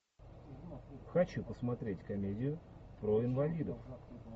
хочу посмотреть комедию про инвалидов